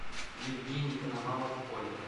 евгений коновалов оля